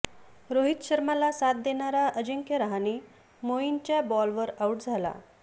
रोहित शर्माला साथ देणारा अजिंक्य रहाणे मोईनच्या बॉलवर आऊट झाला